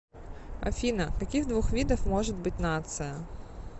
афина каких двух видов может быть нация